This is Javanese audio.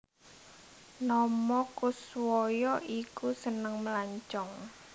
Nomo Koeswoyo iku seneng melancong